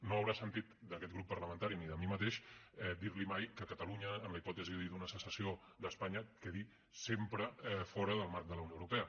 no haurà sentit d’aquest grup parlamentari ni de mi mateix dir li mai que catalunya en la hipòtesi d’una secessió d’espanya quedi sempre fora del marc de la unió europea